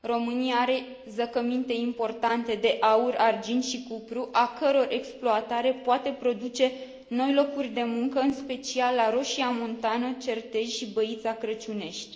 România are zăcăminte importante de aur, argint și cupru, a căror exploatare poate produce noi locuri de muncă, în special la Roșia Montană, Certez și Băița Crăciunești.